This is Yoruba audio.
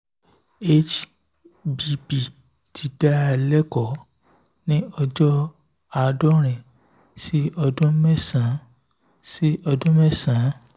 hbp ti dá a lẹ́kọ̀ọ́ ní ọjọ́ àádọ́rin sí ọdún mẹ́sàn-án sí ọdún mẹ́sàn-án